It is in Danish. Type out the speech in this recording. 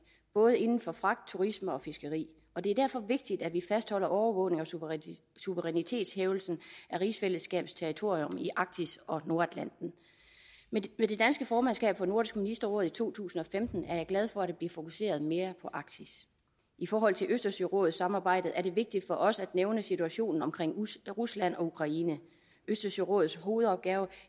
både inden for fragt turisme og fiskeri det er derfor vigtigt at vi fastholder overvågningen og suverænitetshævdelsen af rigsfællesskabets territorium i arktis og nordatlanten med det danske formandskab for nordisk ministerråd i to tusind og femten er jeg glad for at der bliver fokuseret mere på arktis i forhold til østersørådssamarbejdet er det vigtigt for os at nævne situationen omkring rusland og ukraine østersørådets hovedopgave